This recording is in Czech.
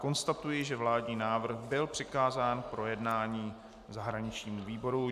Konstatuji, že vládní návrh byl přikázán k projednání zahraničnímu výboru.